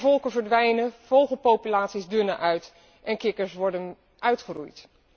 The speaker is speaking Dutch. Bijenvolken verdwijnen, vogelpopulaties dunnen uit en kikkers worden uitgeroeid.